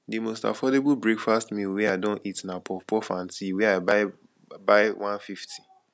di most affordable breakfast meal wey i don eat na puffpuff and tea wey i buy buy 150